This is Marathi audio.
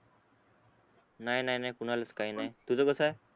नाय नाय नाय कोणालाच काय नाय तुझ कसय